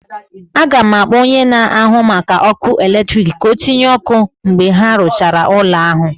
Aga m akpọ onye na-ahụ maka ọkụ eletrik ka ọ tịnye ọkụ mgbe ha rụchara ụlọ ahụ